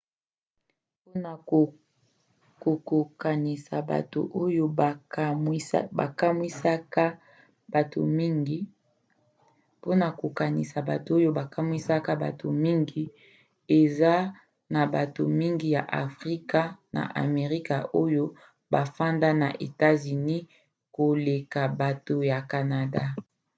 mpona kokokanisa bato oyo bakamwisaka bato mingi: eza na bato mingi ya afrika ya amerika oyo bafandaka na etats-unis koleka bato ya canada